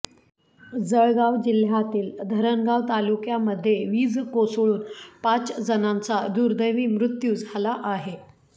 जळगाव जिल्ह्यातील धरणगाव तालुक्यातीमध्ये वीज कोसळून पाच जणांचा दुर्दैवी मृत्यू झाला आहे